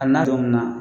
A n'a munna